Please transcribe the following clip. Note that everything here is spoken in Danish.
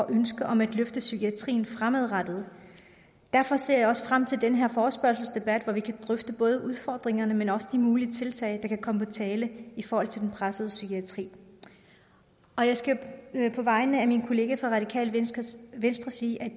ønske om at løfte psykiatrien fremadrettet derfor ser jeg også frem til den her forespørgselsdebat hvor vi kan drøfte både udfordringerne men også de mulige tiltag der kan komme på tale i forhold til den pressede psykiatri og jeg skal på vegne af mine kollegaer fra radikale venstre venstre sige at